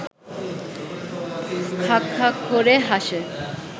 খাঁক খাঁক করে হাসে